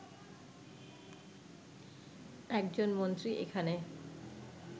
একজন মন্ত্রী এখানে